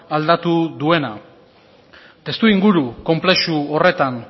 aldatu duena testuinguru konplexu horretan